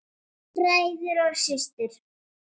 Bræður og systur!